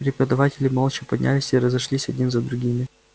преподаватели молча поднялись и разошлись один за другим